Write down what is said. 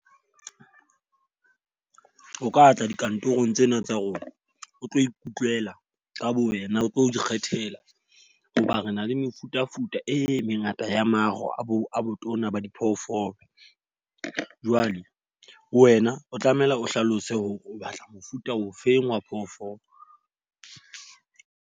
O ka tla dikantorong tsena tsa rona. O tlo ikutlwela, ka bo wena o tlo ikgethela hoba re na le mefutafuta e mengata ya maro a bo a botona ba diphoofolo. Jwale wena o tlamehile o hlalose hore o batla mofuta ofeng wa phoofolo.